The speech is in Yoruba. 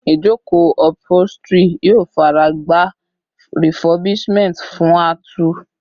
Ijoko upholstery yoo faragba refurbishment fun a tù